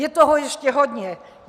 Je toho ještě hodně.